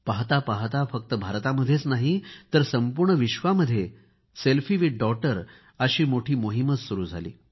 पाहता पाहता फक्त भारतामध्येच नाही तर संपूर्ण विश्वामध्ये सेल्फी विथ डॉटर अशी मोठी मोहीमच सुरू झाली